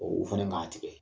U fɛnɛ ka tigɛ.